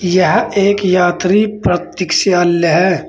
यह एक यात्री प्रतिक्षाल्य है।